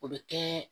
O bɛ kɛ